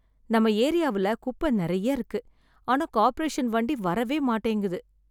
நம்ம ஏரியாவுல குப்ப நெறைய இருக்கு ஆனா கார்பரேஷன் வண்டி வரவே மாட்டேங்குது.